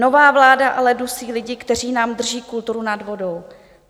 Nová vláda ale dusí lidi, kteří nám drží kulturu nad vodou.